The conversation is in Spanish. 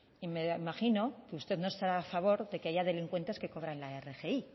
y me imagino que usted no estará a favor de que haya delincuentes que cobran la rgi